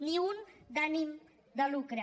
ni un d’ànim de lucre